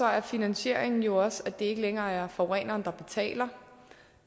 er finansieringen jo også at det ikke længere er forureneren der betaler